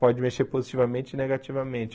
Pode mexer positivamente e negativamente.